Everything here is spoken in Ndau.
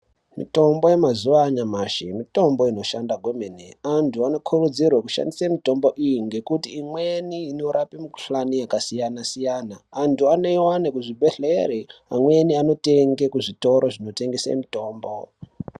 Mitombo yemazuva anyamashi mitombo inoshanda kwemene . Antu anokurudzirwe kushandise mitombo iyi ngekuti imweni norape mikuhlani yakasiyana-siyana. Antu anoiwane kuzvibhedhleri amweni anotenge kuzvitoro zvinotengese mitombo.